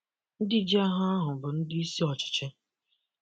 Ndi ji Aha ahụ bụ ndị isi ọchịchị